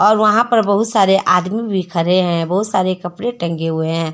और वहां पर बहुत सारे आदमी भी खरे हैं बहुत सारे कपड़े टंगे हुए हैं।